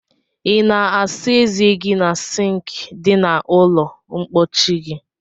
I na asa eze gi na sink di na ulo mpochi gi?